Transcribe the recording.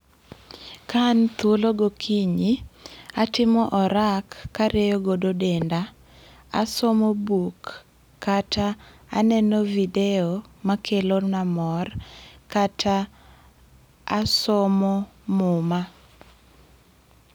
ka an thuolo go kinyi, atimo orak karieyo godo denda, asomo buk kata aneno videyo makelo na mor, kata asomo muma.